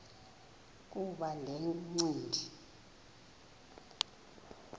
kuba le ncindi